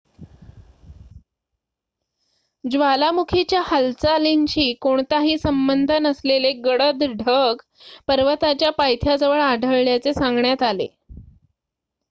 ज्वालामुखीच्या हालचालींशी कोणताही संबंध नसलेले गडद ढग पर्वताच्या पायथ्याजवळ आढळल्याचे सांगण्यात आले